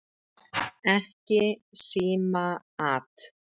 Ekki símaat!